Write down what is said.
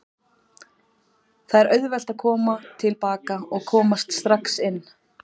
Það er auðvelt að koma til baka og komast inn strax.